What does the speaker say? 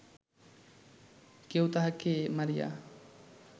কেহ তাঁহাকে মারিয়া